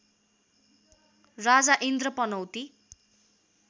राजा Indra पनौती